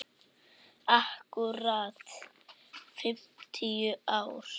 Akkúrat fimmtíu ár.